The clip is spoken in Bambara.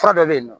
Fura dɔ bɛ yen nɔ